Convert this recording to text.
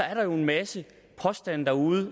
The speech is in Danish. er der jo en masse påstande derude